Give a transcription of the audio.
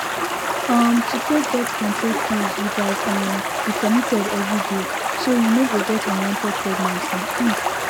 um to take birth control pills you gatz um be committed every day so you no go get unwanted pregnancy um